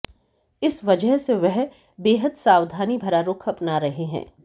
इस वजह से वह बेहद सावधानी भरा रुख अपना रहे हैं